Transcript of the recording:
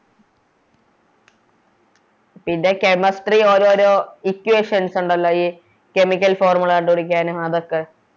പിന്നെ Chemistry ഓരോരോ Equations ഒണ്ടല്ലോ ഈ Chemical formula കണ്ടുപിടിക്കാനും അതൊക്കെ